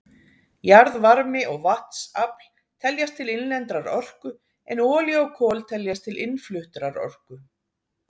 Jarðvarmi og vatnsafl teljast til innlendrar orku en olía og kol teljast til innfluttrar orku.